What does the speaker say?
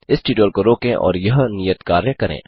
इस ट्यूटोरियल को रोकें और यह नियत कार्य करें